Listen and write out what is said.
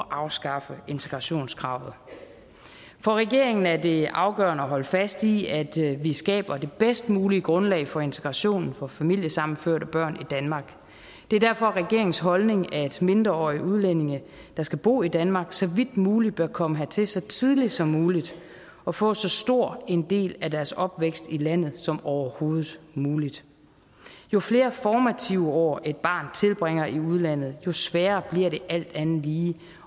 afskaffe integrationskravet for regeringen er det afgørende at holde fast i at vi skaber det bedst mulige grundlag for integration for familiesammenførte børn i danmark og det er derfor regeringens holdning at mindreårige udlændige der skal bo i danmark så vidt muligt bør komme hertil så tidligt som muligt og få så stor en del af deres opvækst i landet som overhovedet muligt jo flere formative år et barn tilbringer i udlandet jo sværere bliver det alt andet lige